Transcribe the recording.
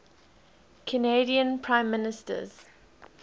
canadian prime ministers